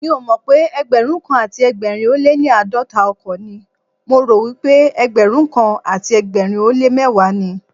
Mi ò mọ̀pé Ẹgbẹ̀rúnkan àti ẹgbẹ̀rin ó léní àádọ́ta ọkọ̀ ni, mo ròwípé ẹgbẹrunkan àti ẹgbẹ̀rin ó lé mẹ́wàá ni.